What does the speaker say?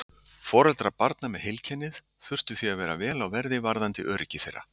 Foreldrar barna með heilkennið þurfa því að vera vel á verði varðandi öryggi þeirra.